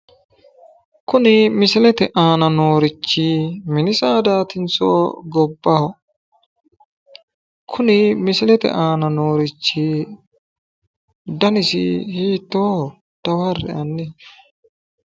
Kuni misilete aana noorichi mini saadatinso gobbaho? Kuni misilete aana noorichi danisi hiitooho dawarre"e hanni?